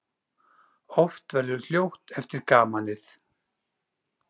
Oft verður hljótt eftir gamanið.